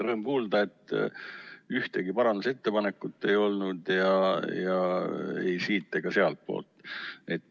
Rõõm kuulda, et ühtegi parandusettepanekut ei olnud ei siit- ega sealtpoolt.